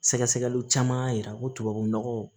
Sɛgɛsɛgɛliw caman y'a yira ko tubabu nɔgɔ